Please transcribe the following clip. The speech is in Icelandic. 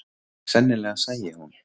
Sennilega sæi hún